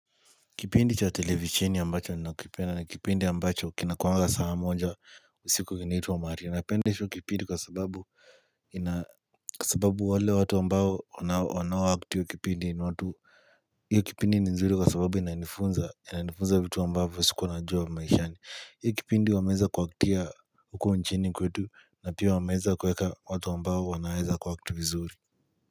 Kipindi cha televisheni ambacho nina kipenda ni kipindi ambacho kinakuanga saa moja usiku kinaitwa maria. Napenda hicho kipindi kwa sababu ina kwa sababu wale watu ambao wanao act hio kipindi. Hio kipindi ni nzuri kwa sababu inanifunza, inanifunza vitu ambavyo sikuwa najua maishani. Hio kipindi wameeza kuaktia huko nchini kwetu na pia wameeza kuweka watu ambao wanaeza kuact vizuri.